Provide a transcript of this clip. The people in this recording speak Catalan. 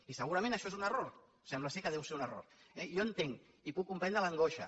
i segurament això és un error sembla que deu ser un error eh jo entenc i puc comprendre l’angoixa